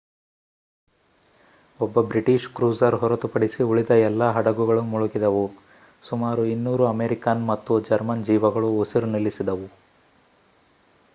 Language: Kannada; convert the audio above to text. ಒಬ್ಬ ಬ್ರಿಟಿಷ್ ಕ್ರೂಸರ್ ಹೊರತುಪಡಿಸಿ ಉಳಿದ ಎಲ್ಲಾ ಹಡಗುಗಳು ಮುಳುಗಿದವು ಸುಮಾರು 200 ಅಮೆರಿಕನ್ ಮತ್ತು ಜರ್ಮನ್ ಜೀವಗಳು ಉಸಿರು ನಿಲ್ಲಿಸಿದವು